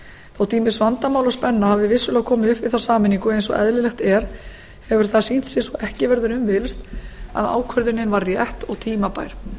þótt ýmis vandamál og spenna hafi vissulega komið upp við þá sameiningu eins og eðlilegt er hefur það sýnt sig svo ekki verður um villst að ákvörðunin var rétt og tímabær